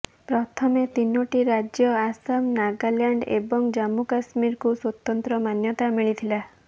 ପ୍ରଥମେ ତିନୋଟି ରାଜ୍ୟ ଆସାମ ନାଗାଲାଣ୍ଡ ଏବଂ ଜମ୍ମୁ କଶ୍ମୀରକୁ ସ୍ୱତନ୍ତ୍ର ମାନ୍ୟତା ମିଳିଥିଲା